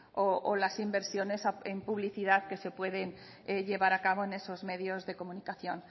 o las inversiones en publicidad que se pueden llevar a cabo en esos medios de comunicación